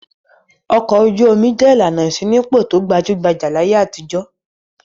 Ọkọ̀ ojú-omi jẹ́ ìlànà ìṣínípò tó gbajú-gbajà láyé àtijọ́.